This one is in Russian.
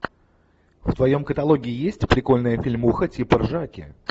в твоем каталоге есть прикольная фильмуха типа ржаки